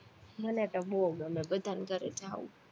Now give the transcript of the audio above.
મને તો બોવ ગમે બધાની ઘરે જાવું